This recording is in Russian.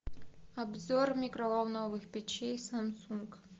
обзор микроволновых печей самсунг